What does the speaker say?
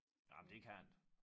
Nej men det kan den